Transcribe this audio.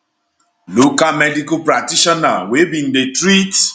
local medical practitioner wey bin dey treat